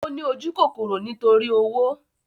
Ó ní ojúkòkòrò nítorí owó